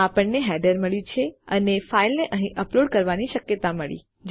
આપણને હેડર મળ્યું છે અને ફાઇલને અહીં અપલોડ કરવાની શક્યતા મળી